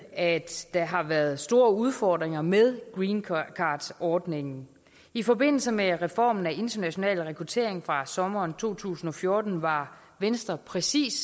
at der har været store udfordringer med greencardordningen i forbindelse med reformen af international rekruttering fra sommeren to tusind og fjorten var venstre præcis